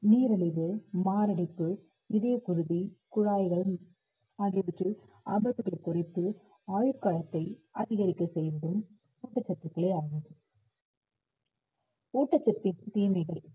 நீரிழிவு, மாரடைப்பு, இதயப்குருதி குழாய்களும் ஆகியவற்றில் ஆபத்துக்கள் குறைத்து ஆயுட்காலத்தை அதிகரிக்க ஊட்டச்சத்துக்களே ஆகும் ஊட்டச்சத்தின்